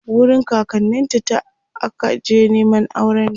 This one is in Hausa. wurin kakanninta ta akaje Neman aurenta